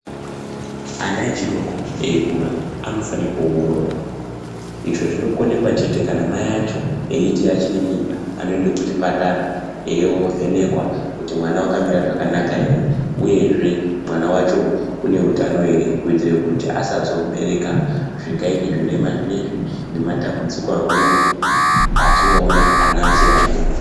Ana echidoko eikura anofane kuongororwa izvo zvinokonekwa chete kana mai acho eiti achine mimba anoende kuchipatara. Eiovhenekwa kuti mwana vakamira zvakanaka ere, uyezve mwana vacho une utano ere. Kuitira kuti asazobereka zvingaite zvirema zvinoizvi nematambudziko amweni atinoona ana achiri adoko.